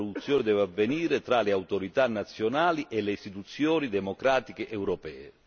L'interlocuzione deve avvenire tra le autorità nazionali e le istituzioni democratiche europee.